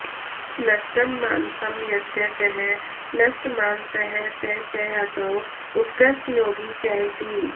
नष्टं मानसं यस्य सः नष्टमानसः स च असौ उत्कृष्टयोगी च इति